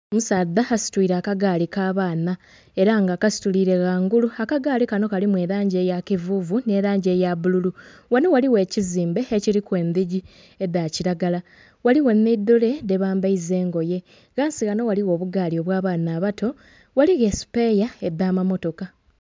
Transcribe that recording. Omusaadha asitwiile akagaali k'abaana, era nga akasituliire ghangulu. Akagaali kano kalimu elangi eya kivuuvu nh'elangi eya bbululu. Ghano ghaligho ekizimbe ekiliku endhigi edha kilagala, ghaligho nhi dole dhebambaiza engoye. Ghansi ghano ghaligho obugaali obwa abaana abato. Ghaligho esupeeya adh'amamotoka.